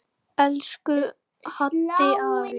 Elsku Haddi afi.